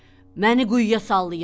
Məni quyuya sallayın,